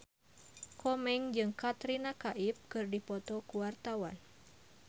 Komeng jeung Katrina Kaif keur dipoto ku wartawan